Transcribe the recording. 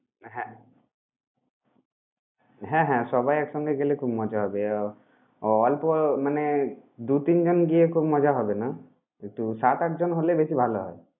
হ্যাঁ হ্যাঁ হ্যাঁ সবাই একসঙ্গে গেলে খুব মজা হবে। আহ অল্প মানে দু, তিন জন গিয়ে খুব মজা হবে না কিন্তু সাত, আট জন হলে বেশি ভালো হবে।